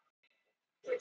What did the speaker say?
Þetta snýst um siðfræði.